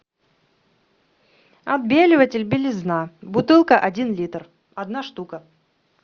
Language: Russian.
отбеливатель белизна бутылка один литр одна штука